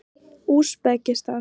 Úsbekistan